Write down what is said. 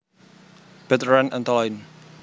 Bertrand Antolin